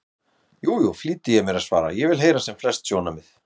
Jú, jú, flýti ég mér að svara, ég vil heyra sem flest sjónarmið.